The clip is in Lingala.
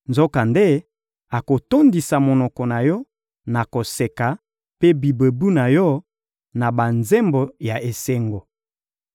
Nzokande, akotondisa monoko na yo na koseka, mpe bibebu na yo na banzembo ya esengo.